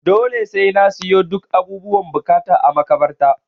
Dole sai na siyo duk abubuwan buƙata a makabarta.